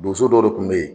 Boso dɔ de kun be yen